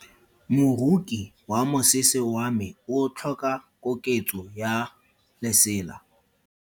Moroki wa mosese wa me o tlhoka koketso ya lesela.